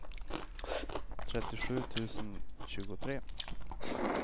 trettiosju tusen tjugotre